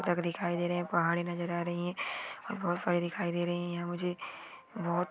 अलग दिखाय दे रही है पहाड़ी नज़र आ रही है और बहुत सारे दिखाय दे रहे है मुझे बहुत --